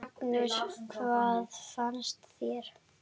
Magnús: Hvað finnst þér?